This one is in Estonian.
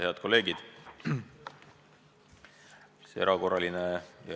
Head kolleegid!